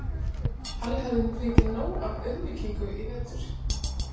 Halli hafði fengið nóg af auðmýkingu í vetur.